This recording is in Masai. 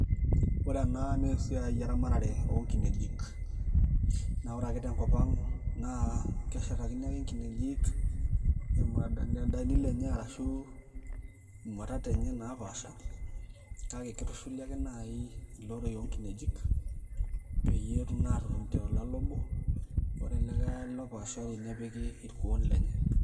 Ore ena naa esiaai eramatare oonkinejik . Naa ore ake tenkop ang naa keshetakini ake nkinejik imunadani lenye ashu imwatat enye naapaasha kake kitushuli ake nai iloroi onkinejik peyie etum naa atotoni tolale obo ,ore olikae ale opaashari nepiki irkuoo lenye .